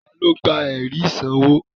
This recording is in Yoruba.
Tani ó gba ẹ̀rí ìsanwó?